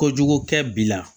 Kojugu kɛ bi la